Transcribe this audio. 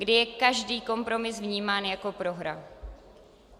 Kdy je každý kompromis vnímán jako prohra.